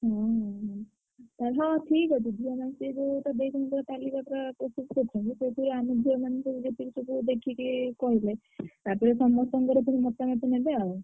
ହୁଁ ହୁଁ ହୁଁ ତା ହଁ ଠିକ୍ ଅଛି। ଝିଅମାନେ ସେ ଯୋଉଗୋଟା ଦେଇଛନ୍ତି ଯୋଉ ତାଲିକାଟା ପ୍ରସ୍ତୁତ କରିଛନ୍ତି। ସେଇଥିରୁ ଆମେ ଝିଅମାନେ ସବୁ ଯେତିକି ସବୁ ଦେଖିକି କହିଲେ ତାପରେ ସମସ୍ତଙ୍କର ସବୁ ମତାମତ ନେବେ ଆଉ।